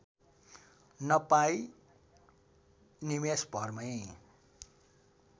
नपाई निमेषभरमै